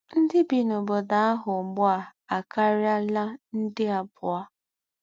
Ndí́ bí n’óbódò àhù àhù úgbú à àkáríálá ndé àbùọ̀